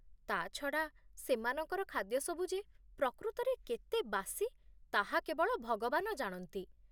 ତା'ଛଡ଼ା, ସେମାନଙ୍କର ଖାଦ୍ୟ ସବୁ ଯେ ପ୍ରକୃତରେ କେତେ ବାସି ତାହା କେବଳ ଭଗବାନ ଜାଣନ୍ତି।